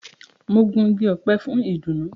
Mo gun ìgi ọpẹ fún idunu.